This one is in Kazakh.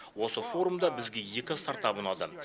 осы форумда бізге екі стартап ұнады